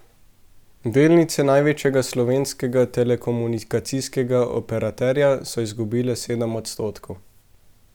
Delnice največjega slovenskega telekomunikacijskega operaterja so izgubile sedem odstotkov.